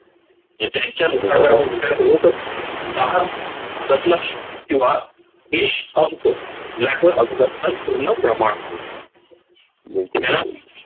हे त्यांच्या दहा दशलक्ष किंवा एक अब्ज याच